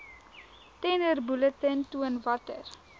tenderbulletin toon watter